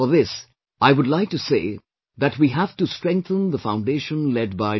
For this, I would like to say that we have to strengthen the foundation laid by Dr